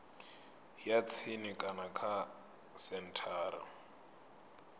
ya tsini kana kha senthara